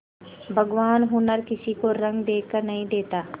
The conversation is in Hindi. भगवान हुनर किसी को रंग देखकर नहीं देता